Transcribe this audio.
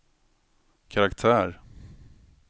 karaktär